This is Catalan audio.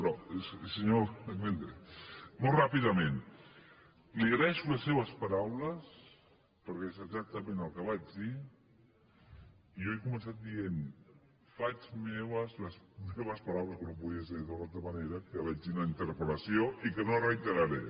però senyor vendrell molt ràpidament li agraeixo les seves paraules perquè és exactament el que vaig dir i jo he començat dient faig meves les meves paraules com no podia ser d’una altra manera que vaig dir en la interpel·lació i que no reiteraré